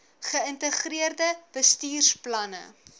ge ïntegreerde bestuursplanne